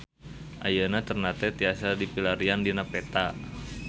Ayeuna Ternate tiasa dipilarian dina peta